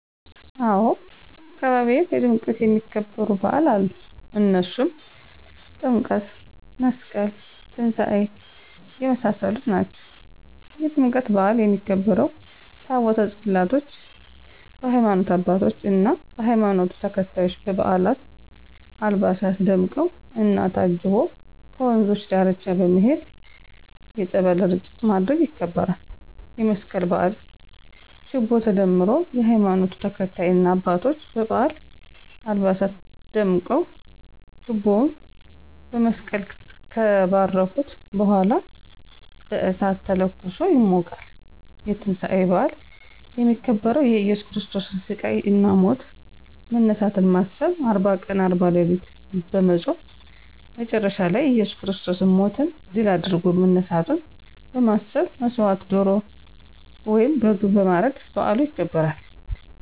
አዎ! በአካባቢየ በድምቀት የሚከበሩ በዓል አሉ። እነሱም ጥምቀት፣ መስቀል፣ ትንሳኤ የመሳሰሉት ናቸው። -የጥምቀት በዓል የሚከበረው፦ ታቦተ ፅላቶች በሀይማኖት አባቶች እና በሀይማኖቱ ተከታዮች በባበዓል አልባሳት ደምቀው እና ታጅቦ ከወንዞች ዳርቻ በመሄድ የፀበል እርጭት ማድረግ ይከበራል። -የመስቀል በዓል፦ ችቦ ተደምሮ የሀይማኖቱ ተከታይ እና አባቶች በበዓል አልባሳት ደምቀው ችቦውን በመስቀል ከባረኩት በኃላ በእሳት ተለኩሶ ይሞቃል። -የትንሳኤ በዓል፦ የሚከበረው የእየሱስ ክርስቶስን ሲቃይ እና ሞቶ መነሳትን በማሰብ አርባ ቀን አርባ ሌሊት በመፆም መቸረሻ ላይ እየሱስ ክርስቶስ ሞትን ድል አድርጎ መነሳቱን በመሠብ መሠዋት ዶሮ ወይም በግ በማረድ በዓሉ ይከበራል።